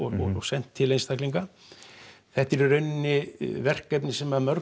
sent til einstaklinga þetta er í rauninni verkefni sem mörg